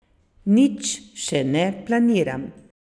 Nič še ne planiram.